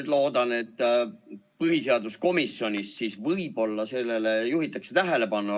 Ma loodan, et põhiseaduskomisjonis võib-olla sellele juhitakse tähelepanu.